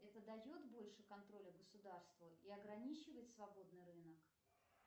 это дает больше контроля государству и ограничивает свободный рынок